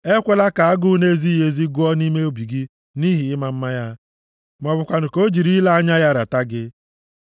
Ekwela ka agụ nʼezighị ezi gụọ gị nʼime obi nʼihi ịma mma ya, ma ọ bụkwanụ ka o jiri ile anya ya rata gị.